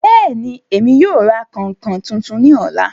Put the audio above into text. Bẹ́ẹ̀ni, Emi yóò ra kainkain tuntun ni ọla